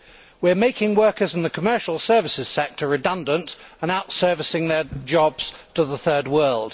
We are making workers in the commercial services sector redundant and outsourcing their jobs to the third world.